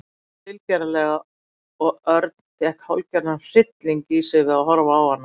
Hún hló tilgerðarlega og Örn fékk hálfgerðan hrylling í sig við að horfa á hana.